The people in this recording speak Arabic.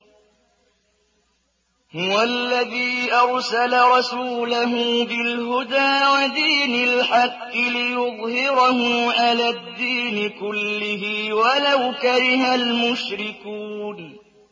هُوَ الَّذِي أَرْسَلَ رَسُولَهُ بِالْهُدَىٰ وَدِينِ الْحَقِّ لِيُظْهِرَهُ عَلَى الدِّينِ كُلِّهِ وَلَوْ كَرِهَ الْمُشْرِكُونَ